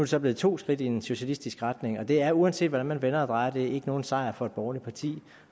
så blevet to skridt i en socialistiske retning og det er uanset hvordan man vender og drejer det ikke nogen sejr for et borgerligt parti